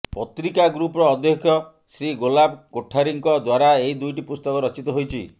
ପତ୍ରିକା ଗ୍ରୁପର ଅଧ୍ୟକ୍ଷ ଶ୍ରୀ ଗୁଲାବ କୋଠାରୀଙ୍କ ଦ୍ୱାରା ଏହି ଦୁଇଟି ପୁସ୍ତକ ରଚିତ ହୋଇଛି